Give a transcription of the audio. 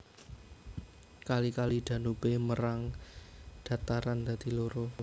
Kali Kali Danube mérang dhataran dadi loro